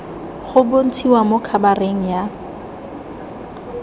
go bontshiwa mo khabareng ya